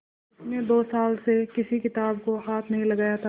उसने दो साल से किसी किताब को हाथ नहीं लगाया था